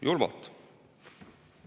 Julmalt.